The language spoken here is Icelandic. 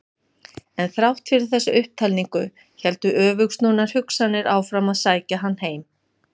En þrátt fyrir þessa upptalningu héldu öfugsnúnar hugsanir áfram að sækja hann heim.